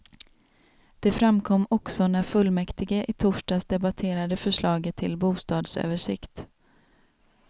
Det framkom också när fullmäktige i torsdags debatterade förslaget till bostadsöversikt.